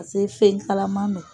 fɛn kalaman don.